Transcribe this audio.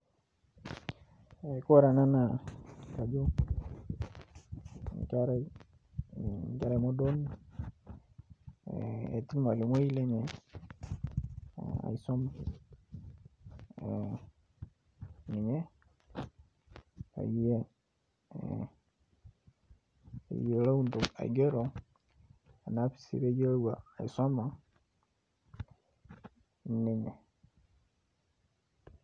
Kore ana naa kajo nkerai modooni eti lmalimoi lenye aisom ninye payie eyolou aigero anasi eyelou aisoma ninye